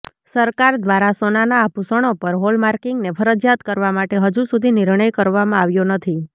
સરકાર દ્વારા સોનાનાં આભૂષણો પર હોલમાર્કિંગને ફરજિયાત કરવા માટે હજુ સુધી નિર્ણય કરવામાં આવ્યો નથી